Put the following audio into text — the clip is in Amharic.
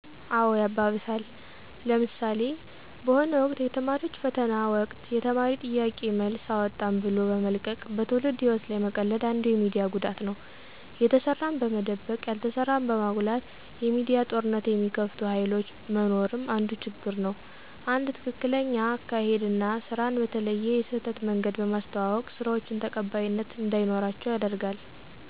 አዎ ያባብሳል። ለምሣሌ፦ በሆነ ወቅት የተማሪዎች ፈተና ወቅት የተማሪ የጥያቄ መልስ አወጣን ብሎ በመልቀቅ በትውልድ ህይዎት ላይ መቀለድ አንዱ የሚዲያ ጉዳት ነው። የተሠራን በመደበቅ ያልተሠራን በማጉላት የሚዲያ ጦርነት የሚከፍቱ ሀይሎች መኖርም አንዱ ችግር ነው። አንድ ትክክለኛ አካሔድ አና ስራን በተለየ የስህተት መንገድ በማስተዋወቅ ስራዎችን ተቀባይነት እንዳይኖራቸው ያደርጋል።